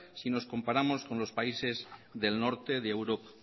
si nos comparamos con los países del norte de europa